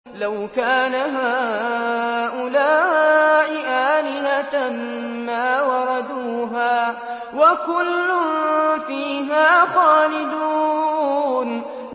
لَوْ كَانَ هَٰؤُلَاءِ آلِهَةً مَّا وَرَدُوهَا ۖ وَكُلٌّ فِيهَا خَالِدُونَ